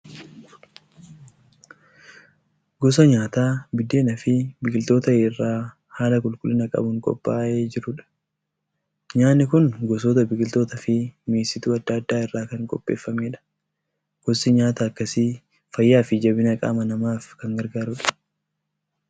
Gosa nyaataa biddeenaa fi biqiltoota irraa haala qulqullina qabuun qophaa'ee jiru. Nyaanni kun gosoota biqiltootaa fi mi'eessituu adda addaa irraa kan qopheeffamedha. Gosti nyaataa akkasii fayyaa fi jabina qaama namaaf kan gargaarudha.